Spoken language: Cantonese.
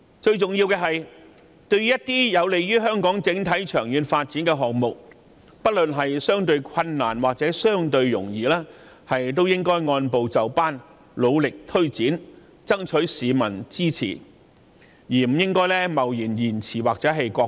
最重要的是，凡是有利香港整體長遠發展的項目，不論難易，政府都應按部就班地努力推展，爭取市民支持，而不應貿然押後或擱置。